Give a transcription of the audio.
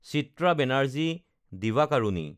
Chitra Banerjee Divakaruni